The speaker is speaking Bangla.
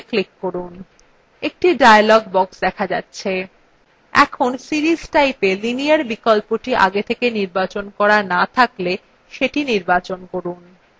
একটি dialog box দেখা যাচ্ছে